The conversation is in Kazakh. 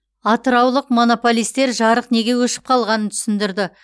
атыраулық монополистер жарық неге өшіп қалғанын түсіндірді